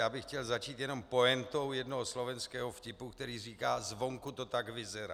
Já bych chtěl začít jenom pointou jednoho slovenského vtipu, která říká - zvonku to tak vyzerá.